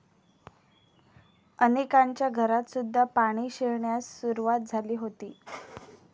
अनेकांच्या घरातसुद्धा पाणी शिरण्यास सुरुवात झाली होती.